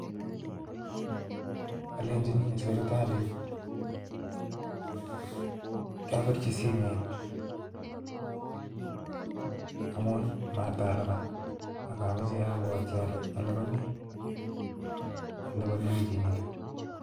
Alenyini sibitalit kiobirchi simet amun matalipan ak amoche abwotyii olenchi oliponi wikinitoon